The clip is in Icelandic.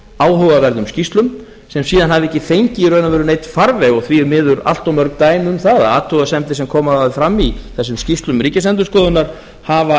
áhugaverðum skýrslum sem síðan hafa ekki fengið í raun og veru neinn farveg því miður eru allt mörg dæmi um það að athugasemdir sem koma fram í þessum skýrslum ríkisendurskoðunar hafa